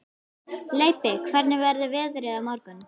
Leibbi, hvernig verður veðrið á morgun?